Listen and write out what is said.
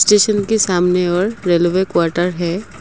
Station के सामने और रेलवे क्वार्टर है।